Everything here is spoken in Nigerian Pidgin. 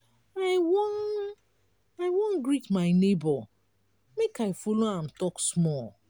i wan i wan greet my nebor make i folo am tok small.